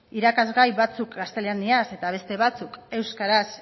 irakasgai batzuk gaztelaniaz eta beste batzuk euskaraz